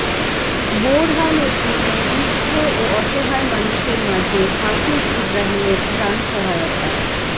বোরহানউদ্দিনে দুস্থ ও অসহায় মানুষের মাঝে হাফিজ ইব্রাহীমের ত্রাণ সহায়তা